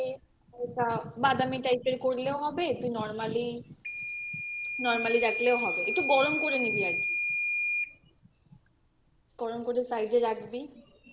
হালকা বাদামি type এর করলেও হবে তুই normally normally রাখলেও হবে একটু গরম করে নিবি আর কি গরম করে side এ রাখবি